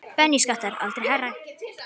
Bensínskattar aldrei hærri